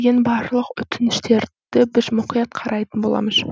барлық өтініштерді біз мұқият қарайтын боламыз